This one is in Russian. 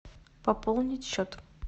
пополнить счет